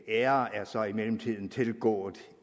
er så i mellemtiden tilgået